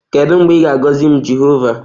Kedu mgbe ị ga-agọzi m Jehova?